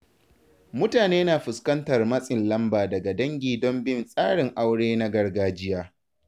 Mutane na fuskantar matsin lamba daga dangi don bin tsarin aure na gargajiya.